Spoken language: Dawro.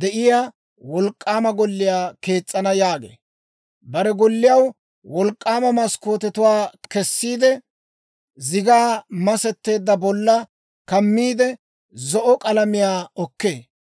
de'iyaa wolk'k'aama golliyaa kees's'ana» yaagee. Bare golliyaw wolk'k'aama maskkootetuwaa; kessiide zigaa masetsan bollaa kammiide, zo'o k'alamiyaa okkee.